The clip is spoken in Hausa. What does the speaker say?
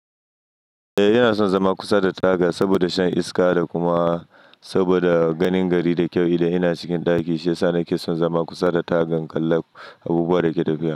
Eh, ina son zama kusa da taga saboda shan iska da kuma saboda ganin gari da ƙyau idan ina cikin ɗaki, shiyasa nake son zama kusa da tagan, in kalla abubuwan dake tafiya.